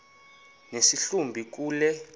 nesi hlubi kule